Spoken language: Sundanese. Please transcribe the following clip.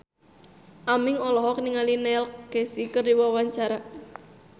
Aming olohok ningali Neil Casey keur diwawancara